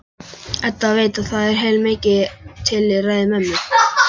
Edda veit að það er heilmikið til í ræðu mömmu.